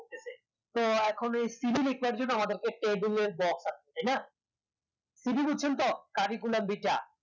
তো এখন CV লেখার জন্য আমাদের একটা table এর দরকার তাইনা CV দিচ্ছেন তো curriculum vitae দেখা